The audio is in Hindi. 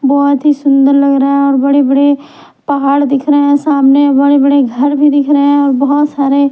बहुत ही सुंदर लग रहा है और बड़े-बड़े पहाड़ दिख रहे हैं सामने बड़े-बड़े घर भी दिख रहे हैं और बहुत सारे--